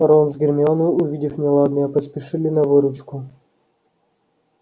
рон с гермионой увидев неладное поспешили на выручку